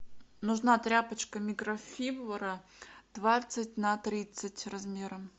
нужна тряпочка микрофибра двадцать на тридцать размером